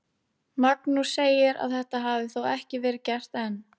Magnús segir að þetta hafi þó ekki verið gert enn.